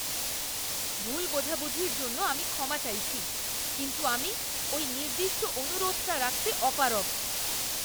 ভুল বোঝাবুঝির জন্য আমি ক্ষমা চাইছি, কিন্তু আমি ওই নির্দিষ্ট অনুরোধটা রাখতে অপারগ।